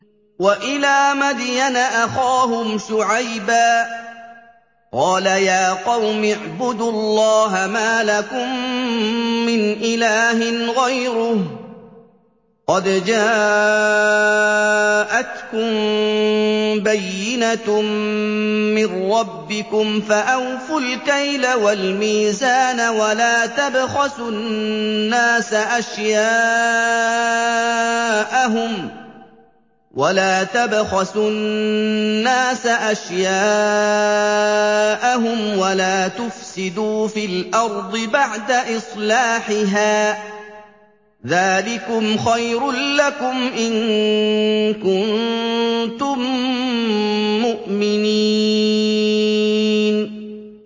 وَإِلَىٰ مَدْيَنَ أَخَاهُمْ شُعَيْبًا ۗ قَالَ يَا قَوْمِ اعْبُدُوا اللَّهَ مَا لَكُم مِّنْ إِلَٰهٍ غَيْرُهُ ۖ قَدْ جَاءَتْكُم بَيِّنَةٌ مِّن رَّبِّكُمْ ۖ فَأَوْفُوا الْكَيْلَ وَالْمِيزَانَ وَلَا تَبْخَسُوا النَّاسَ أَشْيَاءَهُمْ وَلَا تُفْسِدُوا فِي الْأَرْضِ بَعْدَ إِصْلَاحِهَا ۚ ذَٰلِكُمْ خَيْرٌ لَّكُمْ إِن كُنتُم مُّؤْمِنِينَ